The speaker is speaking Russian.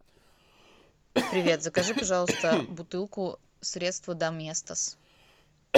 привет закажи пожалуйста бутылку средства доместос